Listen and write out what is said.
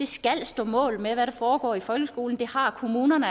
skal stå mål med hvad der foregår i folkeskolen det har kommunerne